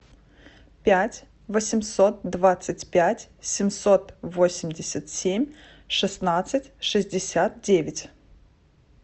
пять восемьсот двадцать пять семьсот восемьдесят семь шестнадцать шестьдесят девять